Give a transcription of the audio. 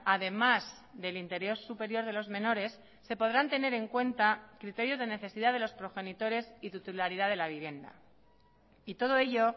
además del interés superior de los menores se podrán tener en cuenta criterios de necesidad de los progenitores y titularidad de la vivienda y todo ello